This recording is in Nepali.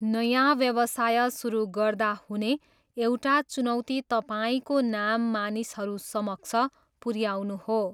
नयाँ व्यवसाय सुरु गर्दा हुने एउटा चुनौती तपाईँको नाम मानिसहरू समक्ष पुऱ्याउनु हो।